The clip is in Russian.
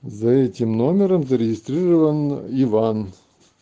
за этим номером зарегистрирован иван